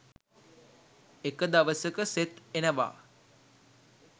එක දවසක සෙත් එනවා